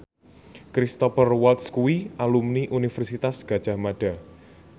Cristhoper Waltz kuwi alumni Universitas Gadjah Mada